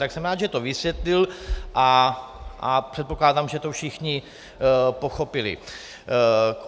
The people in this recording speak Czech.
Tak jsem rád, že to vysvětlil, a předpokládám, že to všichni pochopili.